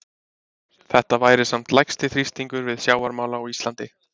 Þetta væri samt lægsti þrýstingur við sjávarmál á Íslandi.